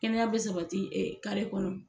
Kɛnɛya be sabati kare kɔnɔ